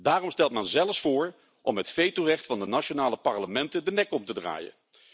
Daarom stelt men zelfs voor om het vetorecht van de nationale parlementen de nek om te draaien.